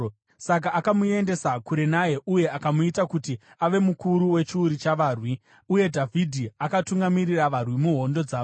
Saka akamuendesa kure naye uye akamuita kuti ave mukuru wechiuru chavarwi, uye Dhavhidhi akatungamirira varwi muhondo dzavo.